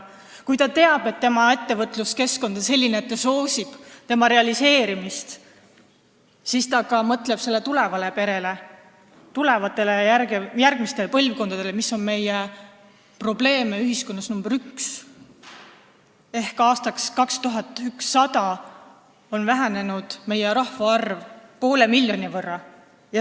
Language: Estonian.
Kui inimene teab, et ettevõtluskeskkond on selline, et see soosib tema plaanide realiseerimist, siis ta ka mõtleb perele, tulevastele ja järgmistele põlvkondadele, mis on meie ühiskonnas probleem nr 1. Aastaks 2100 on meie rahvaarv vähenenud poole miljoni võrra.